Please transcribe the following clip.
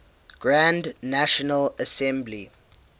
grand national assembly